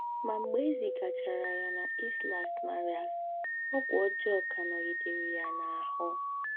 Mgbe e zigachara ya na Islas Marías, ọgwụ ọjọọ ka anọghịde riri ya ahụ́.